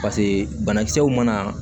Paseke banakisɛw mana